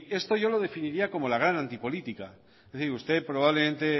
esto yo lo definiría como la gran antipolítica es decir usted probablemente